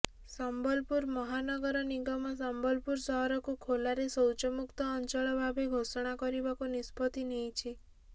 ସମ୍ବଲପୁର ମହାନଗର ନିଗମ ସମ୍ବଲପୁର ସହରକୁ ଖୋଲାରେ ଶୌଚମୁକ୍ତ ଅଞ୍ଚଳ ଭାବେ ଘୋଷଣା କରିବାକୁ ନିଷ୍ପତ୍ତି ନେଇଛି